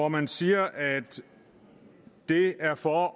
man siger at det er for